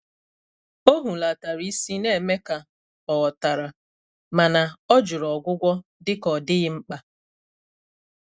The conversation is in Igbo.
Ọ́ hùlàtàrà ísí, nà-émé kà ọ̀ ghọ́tàrà, mà nà ọ́ jụ́rụ̀ ọ́gwụ́gwọ́ dị́kà ọ́ dị́ghị́ mkpà.